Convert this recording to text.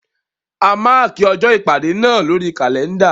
A mákì ọjọ́ ìpàdé náà lórí kàlẹ́ndà.